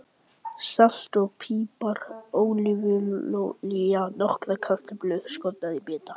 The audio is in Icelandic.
Salt og pipar Ólífuolía Nokkrar kartöflur skornar í bita.